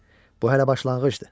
Bu hələ başlanğıcdır.